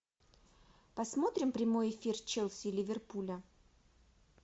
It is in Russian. посмотрим прямой эфир челси и ливерпуля